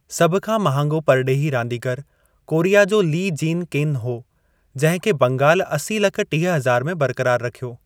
सभ खां महांगो परॾेही रांदीगरु कोरिया जो ली जींग किन हो जंहिं खे बंगाल असी लख टीह हज़ार में बरक़रार रखियो।